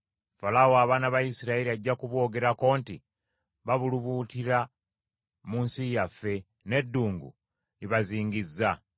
Falaawo abaana ba Isirayiri ajja kuboogerako nti, ‘Babulubuutira mu nsi yaffe, n’eddungu libazingizza.’